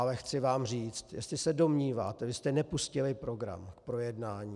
Ale chci vám říct, jestli se domníváte - vy jste nepustili program k projednání.